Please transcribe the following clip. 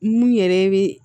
Mun yɛrɛ bɛ